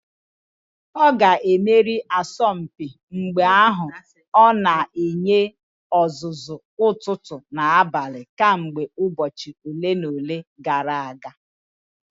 Ọ ga-emeri asọmpi mgba ahụ; ọ na-enye ọzụzụ ụtụtụ na abalị kemgbe ụbọchị ole na ole gara aga